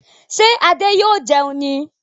Ṣé Adé yóò jẹun ní